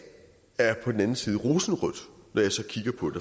er på den anden side rosenrødt når jeg så kigger på